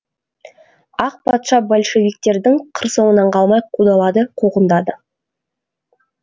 ақ патша большевиктердің қыр соңынан қалмай қудалады қуғындады